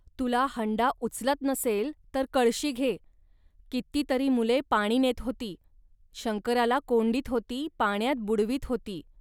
तुला हंडा उचलत नसेल, तर कळशी घे. कितीतरी मुले पाणी नेत होती, शंकराला कोंडीत होती, पाण्यात बुडवीत होती